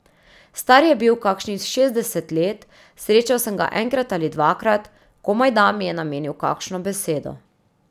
Star je bil kakšnih šestdeset let, srečal sem ga enkrat ali dvakrat, komajda mi je namenil kakšno besedo.